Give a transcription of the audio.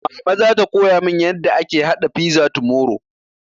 Mama zata koya mun yarda ake haɗa fiza tomorrow